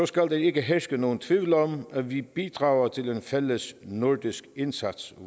skal der ikke herske nogen tvivl om at vi bidrager til en fælles nordisk indsats